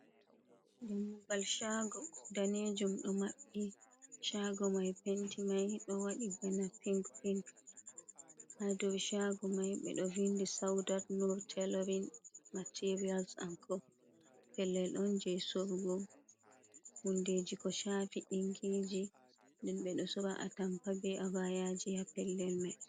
Dammugal shago danejum ɗo maɓɓi, shago mai penti mai ɗo waɗi bana pink pink. hadow shago mai ɓeɗo vindi sawdat nur telorin materiyal an ko, pellel on je sorugo hundeji ko shafi ɗinkiji, nden ɓeɗo sora a tampa ɓe abayaji ha pellel mai.